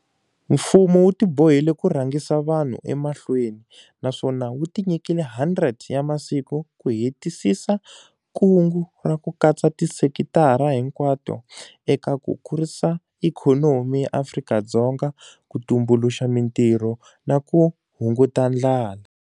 Mfumo wu tibohile ku rhangisa vanhu emahlweni, naswona wu tinyikile 100 ra masiku ku hetisisa kungu ra ku katsa tisekitara hinkwato eka ku kurisa ikhonomi ya Afrika-Dzonga, ku tumbuluxa mitirho na ku hunguta ndlala.